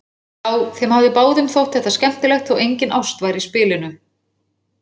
Já, þeim hafði báðum þótt þetta skemmtilegt þótt engin ást væri í spilinu.